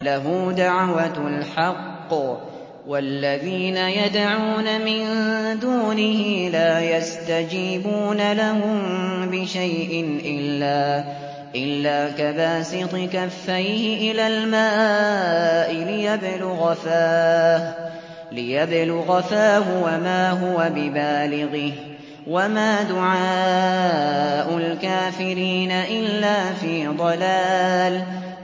لَهُ دَعْوَةُ الْحَقِّ ۖ وَالَّذِينَ يَدْعُونَ مِن دُونِهِ لَا يَسْتَجِيبُونَ لَهُم بِشَيْءٍ إِلَّا كَبَاسِطِ كَفَّيْهِ إِلَى الْمَاءِ لِيَبْلُغَ فَاهُ وَمَا هُوَ بِبَالِغِهِ ۚ وَمَا دُعَاءُ الْكَافِرِينَ إِلَّا فِي ضَلَالٍ